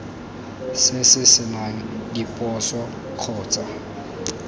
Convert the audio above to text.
se se senang diphoso kgotsa